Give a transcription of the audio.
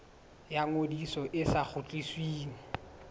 ya ngodiso e sa kgutlisweng